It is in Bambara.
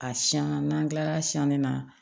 A siɲɛn na n'an tilara siɛni na